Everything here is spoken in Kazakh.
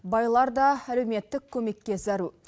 байлар да әлеуметтік көмекке зәру